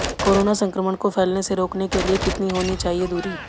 corona संक्रमण को फैलने से रोकने के लिए कितनी होनी चाहिए दूरी